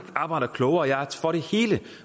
arbejder klogere